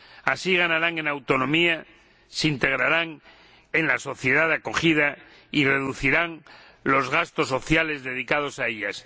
Así ganarán en autonomía, se integrarán en la sociedad de acogida y reducirán los gastos sociales dedicados a ellos.